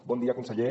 bon dia conseller